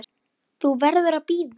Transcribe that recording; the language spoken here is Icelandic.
Þú verður að bíða.